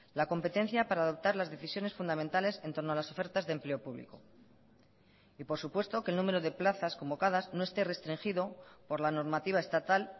la competencia para adoptar las decisiones fundamentales en torno a las ofertas de empleo público y por supuesto que el número de plazas convocadas no esté restringido por la normativa estatal